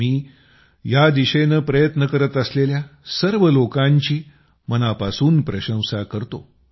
मी या दिशेनं प्रयत्न करत असलेल्या सर्व लोकांची मनापासून प्रशंसा करतो